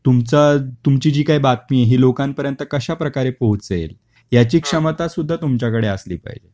तुमचा तुमची जी काही बातमी ही लोकांपर्यंत कश्याप्रकारे पोहोचेल, याची क्षमता सुद्धा तुमच्याकडे असली पाहिजे